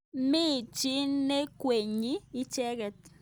Mi chi nekwengyin icheket.